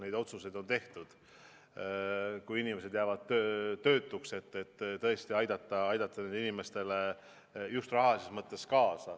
Neid otsuseid on tehtud, et kui inimesed jäävad töötuks, siis tõesti aidata neid inimesi just rahalises mõttes.